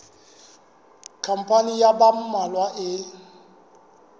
khampani ya ba mmalwa e